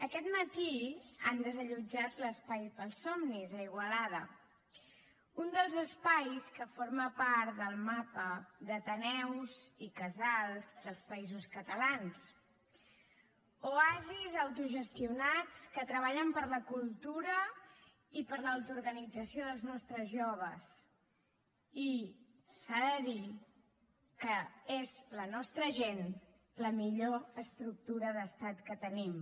aquest matí han desallotjat l’espai pels somnis a igualada un dels espais que forma part del mapa d’ateneus i casals dels països catalans oasis autogestionats que treballen per la cultura i per l’autoorganització dels nostres joves i s’ha de dir que és la nostra gent la millor estructura d’estat que tenim